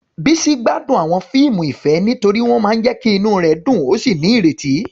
Bisi gbádùn àwọn fíìmù ìfẹ́ nítorí wọ́n máa ń jẹ́ kí inú rẹ̀ dùn ó sì ní ìrètí.